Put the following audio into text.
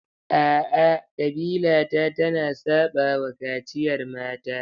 A'a, ƙabila ta tana saɓawa kaciyar mata.